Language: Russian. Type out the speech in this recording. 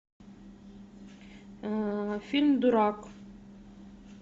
фильм дурак